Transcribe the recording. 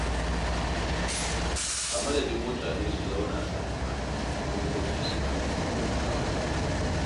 A madadin mutane su zauna sakaka, dokoki sukan taimaka musu.